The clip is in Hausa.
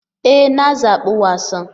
E! Na zabi wasan.